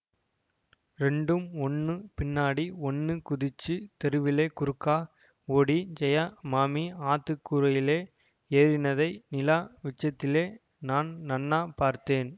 ரெண்டும் ஒண்ணு பின்னாடி ஒண்ணு குதிச்சுத் தெருவிலே குறுக்கா ஓடி ஜெயா மாமி ஆத்துக் கூரையிலே ஏறினதை நிலா விச்சத்திலே நான் நன்னாப் பார்த்தேன்